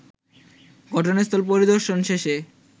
ঘটনাস্থল পরিদর্শন শেষে